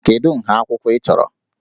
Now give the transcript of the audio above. Kedu nha akwụkwọ ị chọrọ?